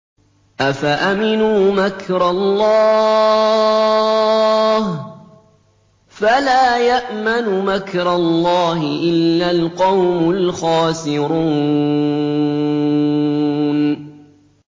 أَفَأَمِنُوا مَكْرَ اللَّهِ ۚ فَلَا يَأْمَنُ مَكْرَ اللَّهِ إِلَّا الْقَوْمُ الْخَاسِرُونَ